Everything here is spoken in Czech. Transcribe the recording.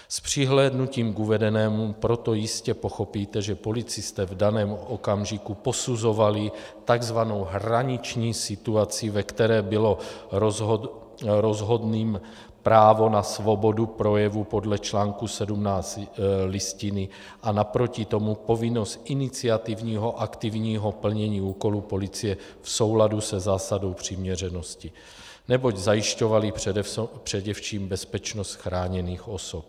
S přihlédnutím k uvedenému proto jistě pochopíte, že policisté v daném okamžiku posuzovali tzv. hraniční situaci, ve které bylo rozhodným právo na svobodu projevu podle článku 17 Listiny a naproti tomu povinnost iniciativního aktivního plnění úkolu policie v souladu se zásadou přiměřenosti, neboť zajišťovali především bezpečnost chráněných osob.